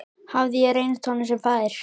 Hafði ég reynst honum sem faðir?